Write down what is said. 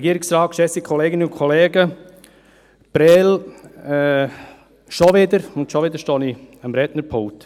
Prêles – schon wieder, und schon wieder stehe ich am Rednerpult.